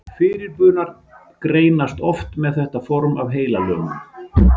Fyrirburar greinast oft með þetta form af heilalömun.